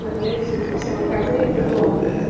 надеюсь эти все выходные буду